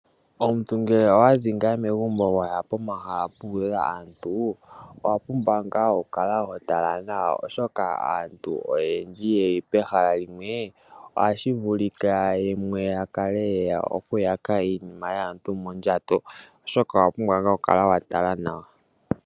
Omuntu ngele owazi megumbo waya pomahala mpoka pena aantu owapumbwa ngaa okutala nawa ,Oshoka aantu oyendji yeli pehala limwe ohashi vulika yakale yeya okuyaka iinima yaantu onkene owapumbwa ngaa okukala wa tala nawa.